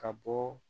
Ka bɔ